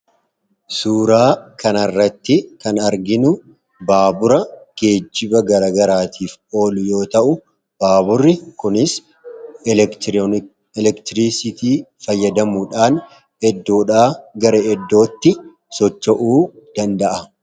Suuraa kanarratti kan arginu baabura geejiba garagaraatiif olu yoo ta'u baaburi kuniis elektirisitii fayyadamuudhaan gara iddootti socho'uu danda'a.